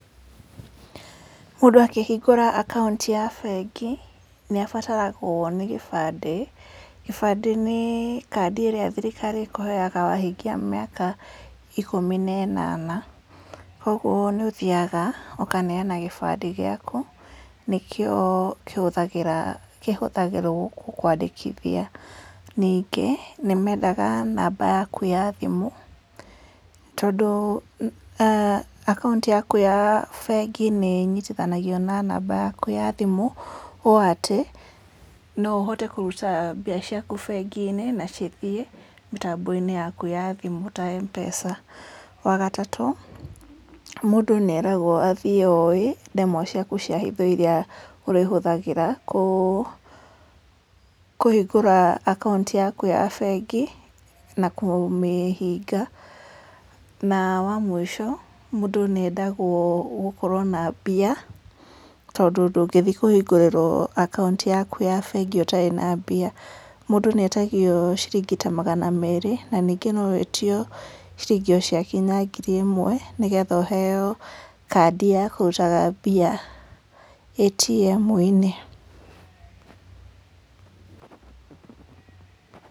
Mũndũ akĩhingũra akaunti ya bengi nĩ abataragwo nĩ gĩbandĩ, gĩbandĩ ni kandĩ ĩrĩa thirikari ĩkũheaga wahingia mĩaka ĩkũmi na ĩnana, kũguo nĩ ũthiaga ũkaneana gĩbandĩ gĩaku nĩ kĩo kĩhũthagĩrwo gũkũandĩkithia. Ningĩ, nĩ mendaga namba yaku ya thimũ, tondũ akaunti yaku ya bengi nĩ ĩnyitithanagio na namba yaku ya thimũ ũũ atĩ no ũhote kũruta mbeca kũũ bengi-inĩ, na cithiĩ mĩtambo-inĩ yaku ya thimũ ta MPESA. Wa gatatũ, mũndũ nĩ eragwo athiĩ ooĩ ndemwa ciaku cia hitho iria ũrĩhuthagĩra kũhingũra akaunti yakũ ya bengi na kũmĩhinga, na wamũisho, mũndũ nĩ endagwo gũkorwo na mbia tondũ ndũgĩthi kũhingũrĩrwo akaunti yaku ya bengi ũtarĩ na mbia, mũndũ nĩ etagio ciringi ta magana merĩ, na ningĩ no wĩtio ciringi o ciakinya ngiri ĩmwe nĩ getha ũheo kandi ya kũrutaga mbia ATM-inĩ